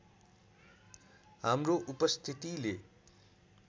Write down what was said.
हाम्रो उपस्थितिले